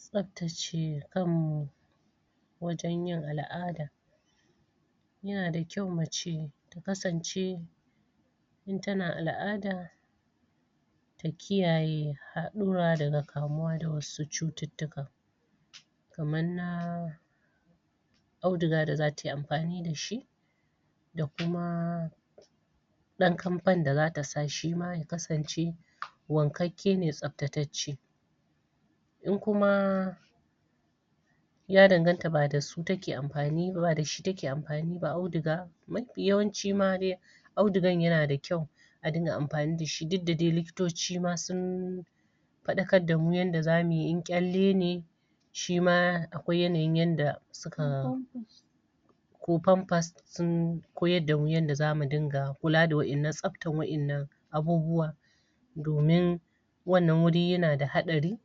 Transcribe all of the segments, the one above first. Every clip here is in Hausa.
tsabtace kanmu wajen yin al'ada yana da kyau mace ta kasance in tana al'ada ta kiyaye haɗura daga kamuwa da wasu cututtuka kaman na auduga da zata yi amfani da shi da kuma ɗan kampan da zata sa shima ya kasance wankakke ne tsaftatacce in kuma ya danganta ba da su take amfani auduga mafi yawanci ma de audugan yana da kyau a dinga amfani da shi duk da dai likitoci ma sun faɗakar damu yanda zamuyi in ƙyalle ne shima akwai yanayin yanda suka ko pampers sun koyar damu yanda zamu dinga kula da tsabtar wa'ennan abubuwa domin wannan wuri yana da haɗari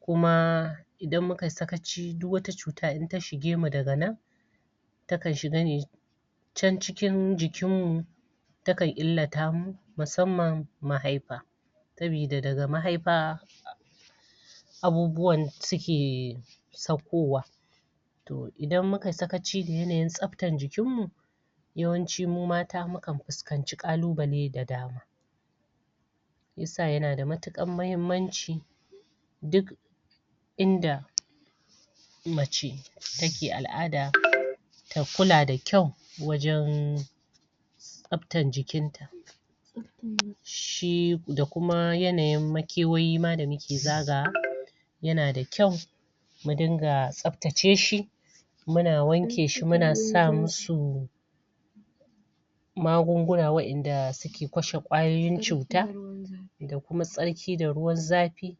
kuma idan muka yi sakaci duk wata cuta in ta shige mu daga nan ta kan shiga ne can cikin jikin mu ta kan illata mu musamman mahaifa sabida daga mahaifa abubuwan suke saukowa to idan muka yi sakaci da yanayin tsabtan jikin mu yawanci mu mata mukan fuskanci ƙalubale da dama shiyasa yana da matuƙar mahimmanci duk inda mace take al'ada ta kula da kyau wajen tsabtan jikin ta shi da kuma yanayin makewayi ma da muke zagawa yana da kyau mu dinga tsabtace shi muna wanke shi muna sa mu su magunguna wa'enda suke kashe ƙwayoyin cuta da kuma tsarki da ruwan zafi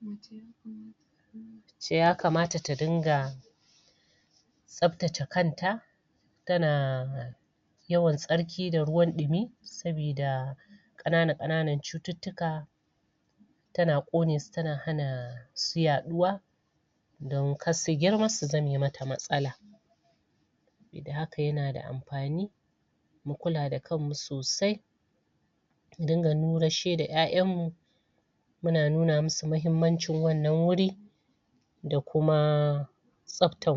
mace ya kamata da dinga tsabtace kanta tana yawan tsarki da ruwan ɗumi sabida ƙanana-ƙananan cututtuka tana ƙone su tana hana su yaɗuwa don kar su girma su zame mata matsala yadda haka yana da amfani mu kula da kanmu sosai mu dinga nurashshe da ƴaƴan mu muna nuna musu mahimmancin wannan wuri da kuma tsabtan